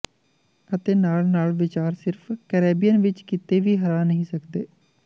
ਅਤੇ ਨਾਲ ਨਾਲ ਵਿਚਾਰ ਸਿਰਫ ਕੈਰੇਬੀਅਨ ਵਿੱਚ ਕਿਤੇ ਵੀ ਹਰਾ ਨਹੀਂ ਸਕਦੇ